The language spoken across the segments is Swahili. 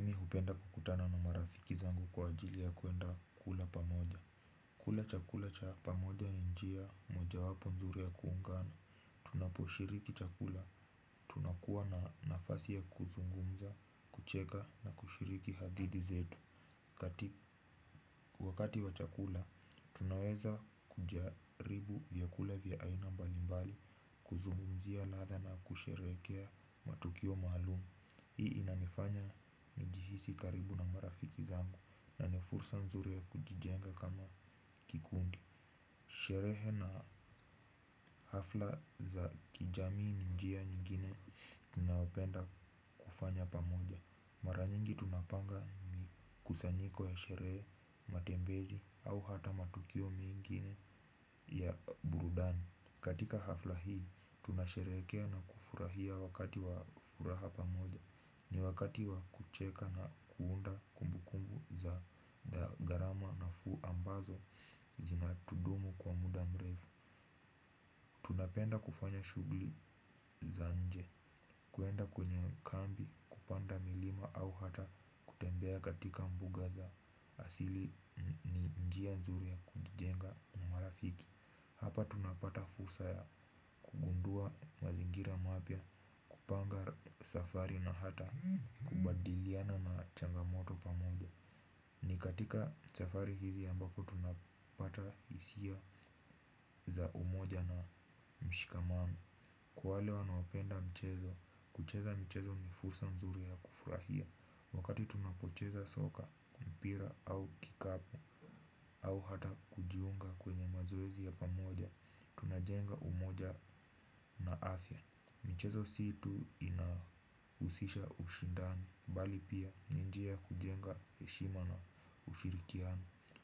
Napenda kukutana na marafiki zangu kwa ajili ya kwenda kula pamoja, kula chakula cha pamoja ni njia mojawapo nzuri ya kuungana. Tunaposhiriki chakula tunakuwa na nafasi ya kuzungumza, kucheka na kushiriki hadithi zetu. Wakati wa chakula, tunaweza kujaribu vya kula vya aina mbalimbali. Kuzungumzia ladha na kusheherekea matukio maalumu hii inanifanya nijihisi karibu na marafiki zangu na nifursa nzuri ya kujijenga kama kikundi. Sherehe na hafla za kijamii ni njia nyingine tunaopenda kufanya pamoja. Maranyingi tunapanga kusanyiko ya sherehe matembezi au hata matukio mingine ya burudani. Katika hafla hii tunasheherekea na kufurahia wakati wa furaha pamoja. Ni wakati wa kucheka na kuunda kumbu kumbu za, da, garama nafuu ambazo zina tudumu kwa muda mrefu. Tunapenda kufanya shughuli za nje kwenda kwenye kambi kupanda milima au hata kutembea katika mbuga za asili njia nzuri ya kujenga na marafiki. Hapa tunapata fursa ya kugundua mazingira mapya kupanga safari na hata kubadiliana na changamoto pamoja. Ni katika safiri hizi ambapo tunapata hisia za umoja na mshikamano. Kwa wale wanaopenda mchezo, kucheza mchezo ni fursa mzuri ya kufurahia wakati tunapocheza soka, ku, mpira au kikapu au hata kujiunga kwenye mazoezi ya pamoja. Tunajenga umoja na afya. Michezo si tu inahusisha ushindani bali pia ni njia kujenga heshima na ushirikiano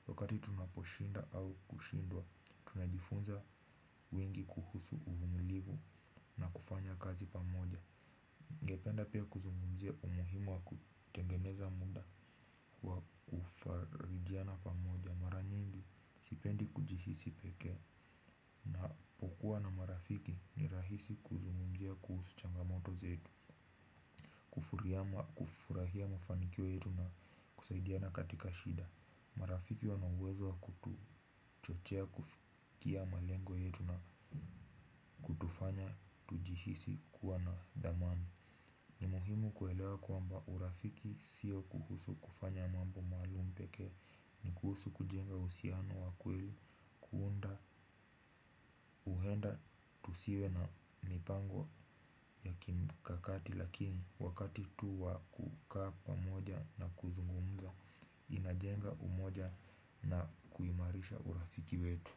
wakati tunaposhinda au kushindwa. Tunajifunza wengi kuhusu uvumilivu na kufanya kazi pamoja. Ningependa pia kuzungumzia umuhimu wakutengeneza muda wa kufarijiana pamoja. Mara nyingi sipendi kujihisi pekee. Unapokuwa na marafiki ni rahisi kuzungumzia kuhusu changamoto zetu kufuria ma, kufurahia mafanikio yetu na kusaidiana katika shida. Marafiki wana uwezo kutuchochea kufikia malengo yetu na kutufanya tujihisi kuwa na dhamani. Ni muhimu kuelewa kwamba urafiki siyo kuhusu kufanya mambo maalum pekee. Ni kuhusu kujenga uhusiano wa kweli kuunda uhenda tusiwe na mipango ya kimbukakati lakini wakati tu wakukaa pamoja na kuzungumza inajenga umoja na kuimarisha urafiki wetu.